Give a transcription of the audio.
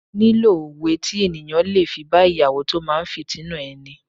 Mo nílò òwe tí ènìyàn le fi bá Ìyàwó tó máa fìtínà ẹni.